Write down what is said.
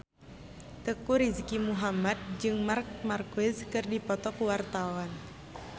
Teuku Rizky Muhammad jeung Marc Marquez keur dipoto ku wartawan